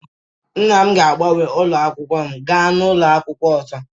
Nna m ga-agbanwe ụlọ akwụkwọ m gaa n'ụlọ akwụkwọ ọzọ